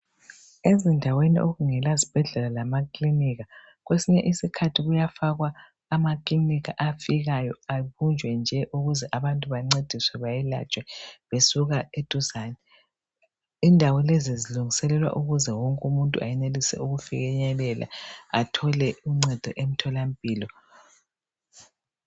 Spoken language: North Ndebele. Ezindaweni okungela zibhedlela lamaklinika kwesinye isikhathi kuyafakwa amakilinika afikayo abunje nje ukuthi abantu bancediswe beyelatshwe besuka eduzani. Indawo lezi zilungiselela ukuze wonke umuntu ayenelise ukufinyelela athole uncedo emtholampilo